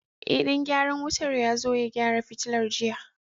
Ee, dan gyaran wutar ya zo ya gyara fitilar jiya.